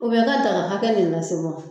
i ka daga hakɛ ni lase wa ?